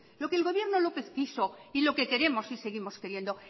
lo que el gobierno lópez quiso y lo que queremos y seguimos queriendo